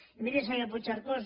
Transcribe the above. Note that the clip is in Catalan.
i miri senyor puigcercós